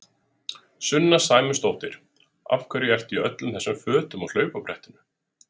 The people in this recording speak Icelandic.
Sunna Sæmundsdóttir: Af hverju ertu í öllum þessum fötum á hlaupabrettinu?